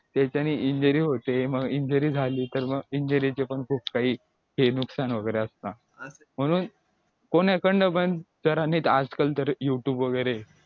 तर त्याने injury होते मग injury झाली तर मग injury चे पण खूप काही ते नुकसान वगैरे असतं म्हणून कोणाकडन पण जरा नीट आजकल तर youtube वगैरे